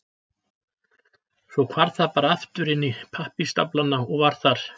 Svo hvarf það bara aftur inn í pappírsstaflana og var þar.